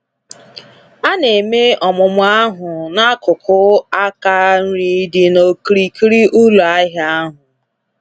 A na-eme ọmụmụ ahụ na akụkụ aka nri dị na okirikiri ụlọ ahịa ahụ